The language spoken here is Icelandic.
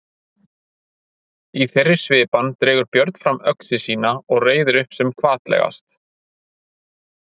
Í þeirri svipan dregur Björn fram öxi sína og reiðir upp sem hvatlegast.